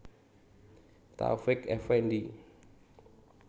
Taufiq Effendi